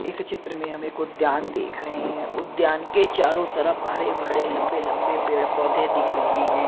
इस चित्र में हमें कुछ उद्यान देख रहे हैं उद्यान के चारों तरफ हरे भरे लंबे लंबे पेड़ पौधे दिख रहे हैं।